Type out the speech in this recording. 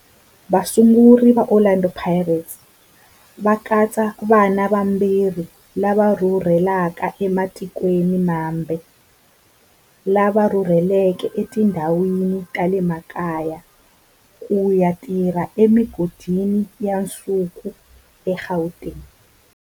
Vasunguri va Orlando Pirates va katsa vana va vatirhi lava rhurhelaka ematikweni mambe lava rhurheleke etindhawini ta le makaya ku ya tirha emigodini ya nsuku eGauteng.